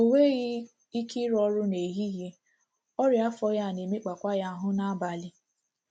O nwegh ike ịrụ ọrụ n’ehihie,, ọrịa afọ: ya na- emekpakwa ya ahụ́ n’abalị.